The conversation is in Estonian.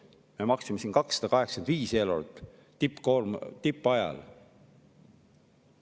Me maksime 285 eurot tippajal.